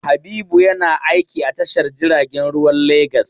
Habibu yana aiki a tashar jiragen ruwan Legas.